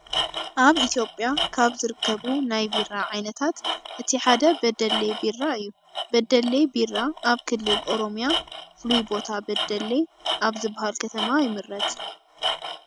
ኣብ ኢትዮጵያ ካብ ዝርከቡ ናይ ቢራ ዓይነታት እቲ ሓደ በደሌ ቢራ እዩ። በደሌ ቢራ ኣብ ክልል ኦሮሚያ ፍሉይ ቦታ በደሌ ኣብ ዝበሃል ከተማ ይምረት።